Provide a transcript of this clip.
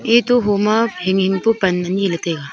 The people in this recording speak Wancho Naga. ate homa hinghing pu pan ani ley taiga.